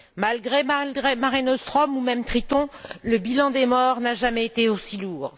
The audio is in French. Malgré Mare Nostrum ou même Triton, le bilan des morts n'a jamais été aussi lourd.